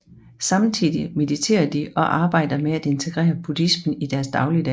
Samtidig mediterer de og arbejder med at integrere buddhismen i deres dagligdag